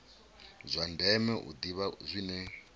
zwa ndeme u ḓivha zwine